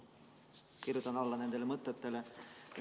Ma kirjutan nendele mõtetele alla!